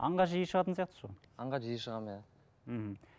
аңға жиі шығатын сияқтысыз ғой аңға жиі шығамын иә мхм